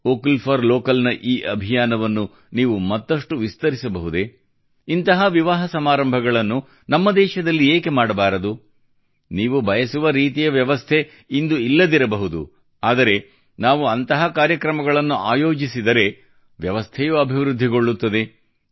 vocal for local ನ ಈ ಅಭಿಯಾನವನ್ನು ನೀವು ಮತ್ತಷ್ಟು ವಿಸ್ತರಿಸಬಹುದೇ ಇಂತಹ ವಿವಾಹ ಸಮಾರಂಭಗಳನ್ನು ನಮ್ಮ ದೇಶದಲ್ಲಿ ಏಕೆ ಮಾಡಬಾರದು ನೀವು ಬಯಸುವ ರೀತಿಯ ವ್ಯವಸ್ಥೆ ಇಂದು ಇಲ್ಲದಿರಬಹುದು ಆದರೆ ನಾವು ಅಂತಹ ಕಾರ್ಯಕ್ರಮಗಳನ್ನು ಆಯೋಜಿಸಿದರೆ ವ್ಯವಸ್ಥೆಯೂ ಅಭಿವೃದ್ಧಿಗೊಳ್ಳುತ್ತದೆ